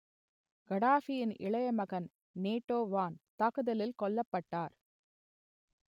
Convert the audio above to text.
கடாஃபியின் இளைய மகன் நேட்டோ வான் தாக்குதலில் கொல்லப்பட்டார்